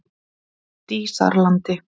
Dísarlandi